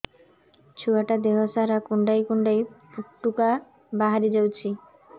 ଛୁଆ ଟା ଦେହ ସାରା କୁଣ୍ଡାଇ କୁଣ୍ଡାଇ ପୁଟୁକା ବାହାରି ଯାଉଛି